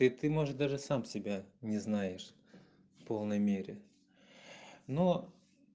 и ты можешь даже сам себя не знаешь полной мере но